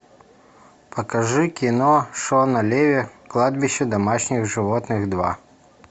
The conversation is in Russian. покажи кино шона леви кладбище домашних животных два